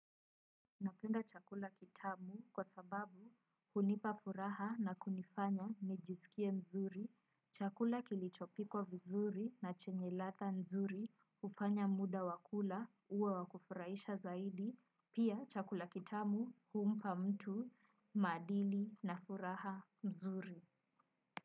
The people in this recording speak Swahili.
Napenda chakula kitamu kwa sababu unipa furaha na kunifanya nijiskie mzuri, chakula kilichopikwa vizuri na chenye latha nzuri, ufanya muda wa kula uwe wa kufuraisha zaidi, pia chakula kitamu umpa mtu maadili na furaha mzuri.